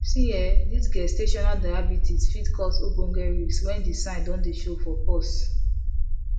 see[um]this gestational diabetes fit cause ogboge risks when the sign don dey show for pause